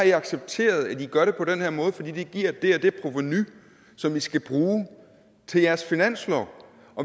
i har accepteret at i gør det på den her måde fordi det giver det og det provenu som i skal bruge til jeres finanslov